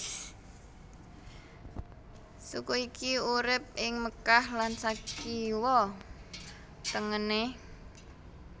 Suku iki urip ing Mekkah lan sakiwa tengene